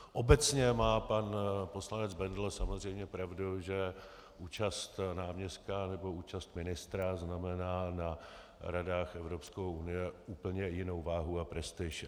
Obecně má pan poslanec Bendl samozřejmě pravdu, že účast náměstka nebo účast ministra znamená na radách Evropské unie úplně jinou váhu a prestiž.